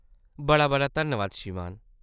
बड़ा-बड़ा धन्नबाद, श्रीमान।